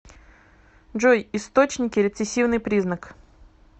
джой источники рецессивный признак